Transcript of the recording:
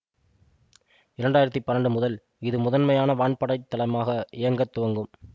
இரண்டு ஆயிரத்தி பன்னண்டு முதல் இது முதன்மையான வான்படைத் தளமாக இயங்கத் துவங்கும்